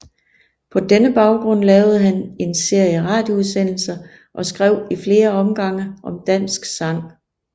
På denne baggrund lavede han en serie radioudsendelser og skrev i flere omgange om dansk sang